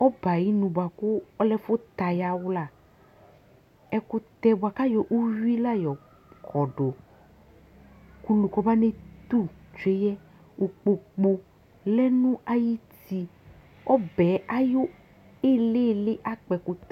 ɔbɛ ayinʋ buakʋ ɔlɛ ɛfʋ tɛ ayawula ɛkʋtɛ bua ku ayɔ ʋwi la yɔ kɔdʋ kʋ ʋlʋ kɔ banɛtʋ tswɛ yɛ ikpoku lɛ nʋ ayiti ɔbɛ ayʋ ilili akpɔ ɛkʋtɛ